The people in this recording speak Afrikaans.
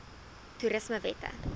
toerismewette